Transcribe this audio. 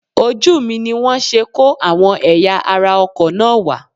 Ojú mi ni wọ́n ṣe kó àwọn ẹ̀yà ara ọkọ̀ náà wá